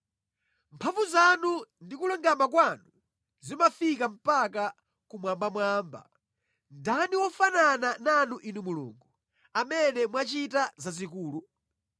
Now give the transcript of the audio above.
Mphamvu zanu ndi kulungama kwanu zimafika mpaka kumwambamwamba. Ndani wofanana nanu Inu Mulungu, amene mwachita zazikulu?